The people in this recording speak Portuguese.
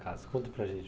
casa? Conta para a gente.